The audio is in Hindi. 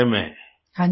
प्रेम जी हाँ जी